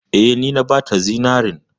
Eh, ni na bata zinarin.